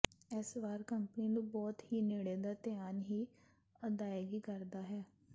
ਇਸ ਵਾਰ ਕੰਪਨੀ ਨੂੰ ਬਹੁਤ ਹੀ ਨੇੜੇ ਦਾ ਧਿਆਨ ਹੀ ਅਦਾਇਗੀ ਕਰਦਾ ਹੈ